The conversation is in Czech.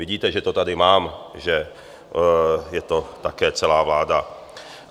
Vidíte, že to tady mám, že je to také celá vláda.